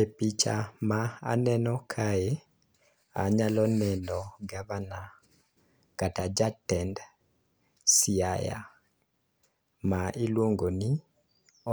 E picha ma aneno kae anyalo neno gavana kata jatend Siaya ma iluongo ni